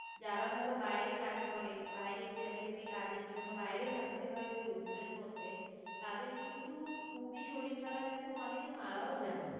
যারা ধরো বাইরে কাজ করে বাইরে যাদেরকে কাজের জন্য বাইরে থাকতে হয় ওই রৌদ্রের মধ্যে তাদের কিন্তু খুবই শরীর খারাপ এবং অনেকে মারাও যান